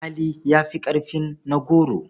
Alƙali ya fi ƙarfin na goro.